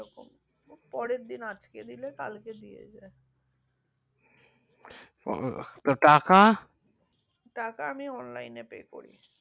পরের দিন আজ কে দিল. এ কাল কে দিয়ে যাই ও টাকা টাকা আমি অনলাইনে পে করি